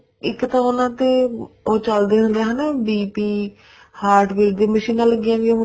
ਇੱਕ ਤਾਂ ਉਹਨਾ ਦੇ ਉਹ ਚੱਲਦੇ ਹੁੰਦੇ ਆ BP heartbeat ਦੀਆਂ ਮਸ਼ੀਨਾ ਲੱਗੀਆਂ ਵੀ ਹੁੰਦੀਆਂ ਨੇ